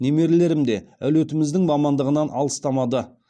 немерелерім де әулетіміздің мамандығынан алыстамады